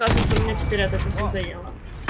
кажется у меня теперь эта песня заела